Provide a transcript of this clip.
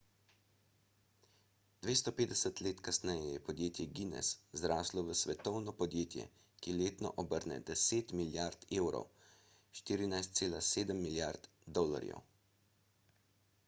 250 let kasneje je podjetje guinness zraslo v svetovno podjetje ki letno obrne 10 milijard evrov 14,7 milijard usd